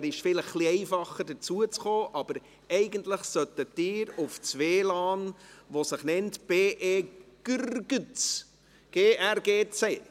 Es ist vielleicht etwas einfacher dazuzukommen, aber eigentlich sollten Sie auf das WLAN zugreifen, welches sich «BEgrgc» nennt.